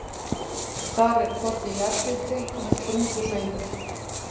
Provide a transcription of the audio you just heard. Þar er hvorki jarðhiti né sprungusveimur.